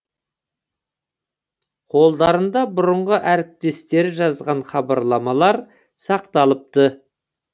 қолдарында бұрынғы әріптестері жазған хабарламалар сақталыпты